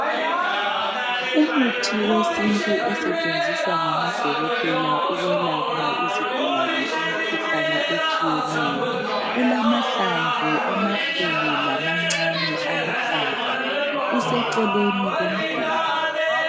Umuthi wesintu osetshenziswa ngamadokotela ukwelapha izigulane, imikhuhlane etshiyeneyo. Ulamahlamvu amakhulu, lamancane. Aluhlaza. Useceleni komduli.